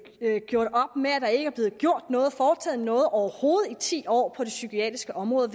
gjort op med at der ikke er blevet gjort noget foretaget noget overhovedet i ti år på det psykiatriske område og